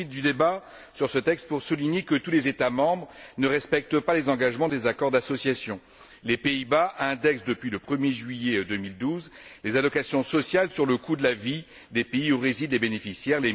Mais je profite du débat sur ce texte pour souligner que tous les États membres ne respectent pas les engagements des accords d'association. Les Pays Bas indexent depuis le 1er juillet 2012 les allocations sociales sur le coût de la vie des pays où résident les bénéficiaires.